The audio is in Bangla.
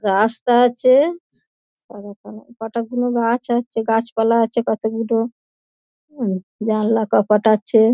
রাস্তা আছে সা কটা গুলো গাছ আছে গাছপালা আছে কতগুলো হুম জানলা কপাট আছে।